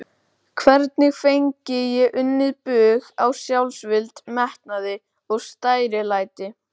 Hvernig fengi ég unnið bug á sjálfsvild, metnaði, stærilæti?